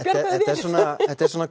þetta er svona